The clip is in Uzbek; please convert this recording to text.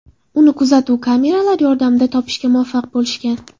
Uni kuzatuv kameralari yordamida topishga muvaffaq bo‘lishgan.